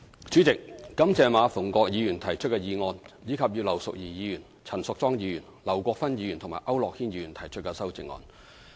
主席，感謝馬逢國議員提出的議案，以及葉劉淑儀議員、陳淑莊議員、劉國勳議員和區諾軒議員提出的修正案。